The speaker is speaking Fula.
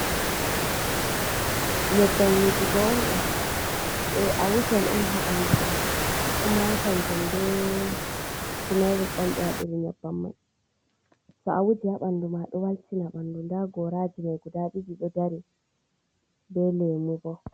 Nyabban wujigo ondo, a awujan on habanduma, kuma kanjum bee tumiric on be wadiri yabbanman, to a wuji habandu ma do waltina bandu, nda goraji ma guda di di do dari be lemu bo.